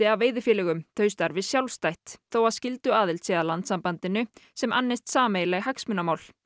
af veiðifélögunum þau starfi sjálfstætt þó að skylduaðild sé að landssambandinu sem annist sameiginleg hagsmunamál